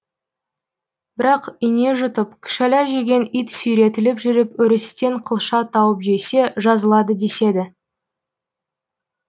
бірақ ине жұтып күшәла жеген ит сүйретіліп жүріп өрістен қылша тауып жесе жазылады деседі